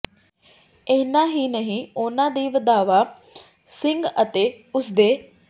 ਐਨਾ ਹੀ ਨਹੀਂ ਉਹਨਾਂ ਨੇ ਵਧਾਵਾ ਸਿੰਘ ਅਤੇ ਉਸਦੇ